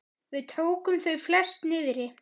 Við tókum þau flest niðri.